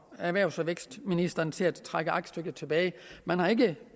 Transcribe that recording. erhvervs og vækstministeren til at trække aktstykket tilbage man har ikke